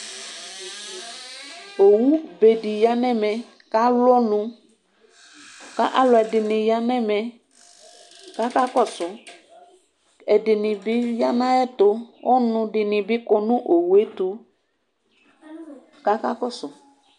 Owu bedi yanu ɛmɛ ku ewu ɔnu ku alu kakakɔsu ɛdini bi ya nu ayɛtu ɔnudini bi kɔ nu ayɛtu kakakɔsu